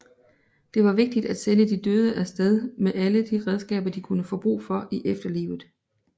Det var vigtigt at sende de døde afsted med alle de redskaber de kunne få brug for i etferlivet